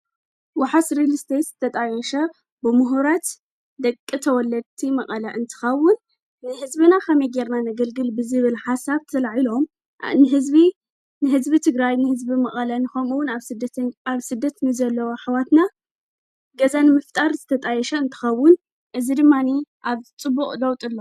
ወሓስ ሬልስቴይት ዝተጣየሸ ብምሁራት ደቂ ተወለቲ መቐለ እንትኻውን ንሕዝቢና ኻም ይጌርና ነግልግል ብዚብል ሓሳብ ዝለዒ ሎም ንሕዝቢ ንሕዝቢ ትግራይ ንሕዝቢ መቐለ ንኾምውን ኣብ ስደት ንዘለዉ ኅዋትና ገዛን ምፍጣር ዘተጣየሸ እንተኸውን እዝ ድማኒ ኣብጽቡቕ ለውጡሎ